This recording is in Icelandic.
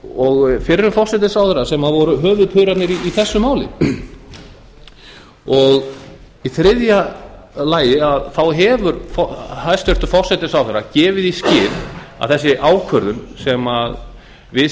og fyrrum forsætisráðherra sem voru höfuðpaurarnir í þessu máli í þriðja lagi hefur hæstvirtur forsætisráðherra gefið í skyn að þessi ákvörðun sem við